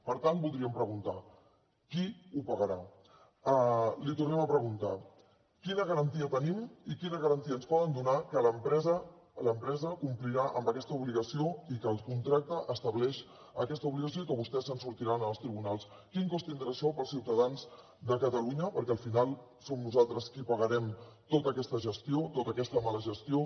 per tant voldríem preguntar qui ho pagarà li tornem a preguntar quina garantia tenim i quina garantia ens poden donar que l’empresa complirà amb aquesta obligació i que el contracte estableix aquesta obligació i que vostès se’n sortiran en els tribunals quin cost tindrà això per als ciutadans de catalunya perquè al final som nosaltres qui pagarem tota aquesta gestió tota aquesta mala gestió